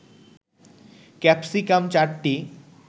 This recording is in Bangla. ক্যাপসিকাম ৪টি